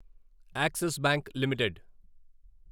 axis bank limited